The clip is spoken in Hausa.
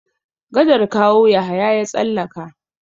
Gadar Kawo Yahaya ya tsallaka.